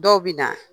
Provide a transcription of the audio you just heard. Dɔw bɛ na